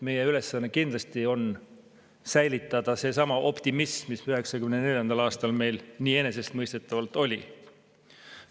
Meie ülesanne on kindlasti säilitada seesama optimism, mis meil 1994. aastal nii enesestmõistetavalt olemas oli.